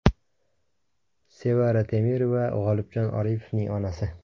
Sevara Temirova, G‘olibjon Oripovning onasi.